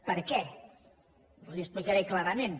per què els ho explicaré clarament